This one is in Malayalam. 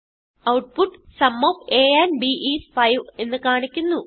output sum of a and b is 5 എന്ന് കാണിക്കുന്നു